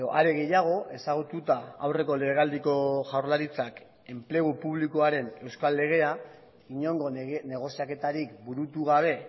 are gehiago ezagututa aurreko legealdiko jaurlaritzak enplegu publikoaren euskal legea inongo negoziaketarik burutu gabe